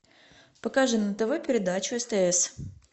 покажи на тв передачу стс